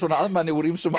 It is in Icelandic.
að manni úr ýmsum